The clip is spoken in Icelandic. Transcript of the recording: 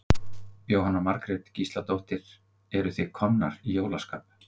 Jóhanna Margrét Gísladóttir: Eruð þið komnar í jólaskap?